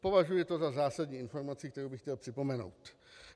Považuji to za zásadní informaci, kterou bych chtěl připomenout.